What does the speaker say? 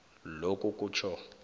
lokhu kutjho